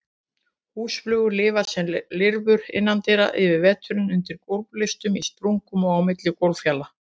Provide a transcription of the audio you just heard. Húsflugur lifa sem lirfur innandyra yfir veturinn, undir gólflistum, í sprungum og á milli gólffjala.